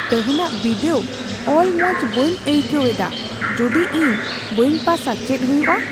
ᱛᱮᱦᱮᱧᱟᱜ ᱵᱤᱰᱟᱹᱣ ᱚᱞ ᱢᱚᱡ ᱵᱟᱹᱧ ᱟᱹᱭᱠᱟᱹᱣᱮᱫᱟ ᱾ ᱡᱩᱫᱤ ᱤᱧ ᱵᱟᱹᱧ ᱯᱟᱥᱼᱟ, ᱪᱮᱫ ᱦᱩᱭᱩᱜᱼ ᱟ ?